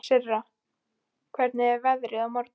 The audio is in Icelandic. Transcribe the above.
Sirra, hvernig er veðrið á morgun?